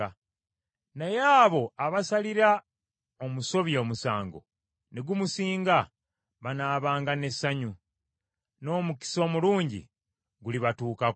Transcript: Naye abo abasalira omusobya omusango ne gumusinga banaabanga n’essanyu, n’omukisa omulungi gulibatuukako.